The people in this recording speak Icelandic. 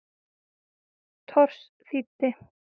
Thors þýddi.